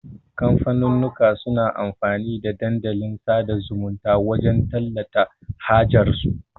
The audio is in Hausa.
kamfanunnuka suna amfani da Dandalin sada zumunta wajan tallata hajar su